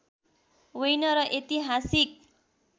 होइन र ऐतिहासिक